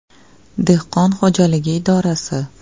Dehqon xo‘jaligi idorasi.